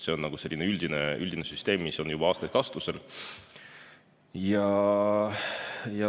See on selline üldine süsteem, mis on juba aastaid kasutusel olnud.